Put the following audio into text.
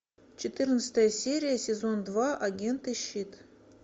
четырнадцатая серия сезон два агенты щит